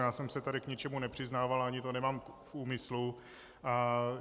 Já jsem se tady k ničemu nepřiznával, ani to nemám v úmyslu.